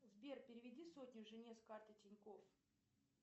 сбер переведи сотню жене с карты тинькофф